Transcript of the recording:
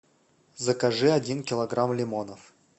закажи один килограмм лимонов